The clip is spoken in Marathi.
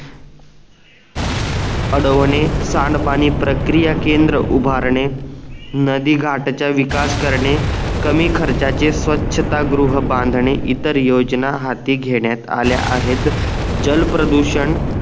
अडवणे सांड पाणी प्रक्रिया केंद्र उभारणे नधी घाटच्या विकास करणे कमी खर्चाचे स्वच्छता गृह बांधणे इतर योजना हाती घेण्यात आले आहेत जल प्रदूषण